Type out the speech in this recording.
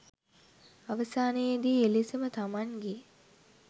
අවසානයේදී එලෙසම තමන්ගේ